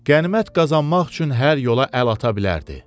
Qənimət qazanmaq üçün hər yola əl ata bilərdi.